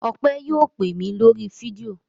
Ọpẹ́ yóò pè mí lórí fídíò.